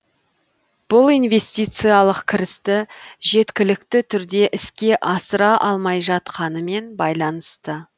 бұл инвестициялық кірісті жеткілікті түрде іске асыра алмай жатқанымен байланысты